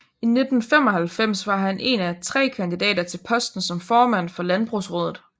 I 1995 var han en af tre kandidater til posten som formand for Landbrugsraadet